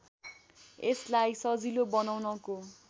यसलाई सजिलो बनाउनको